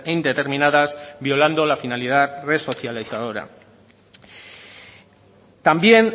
indeterminadas violando la finalidad resocializadora también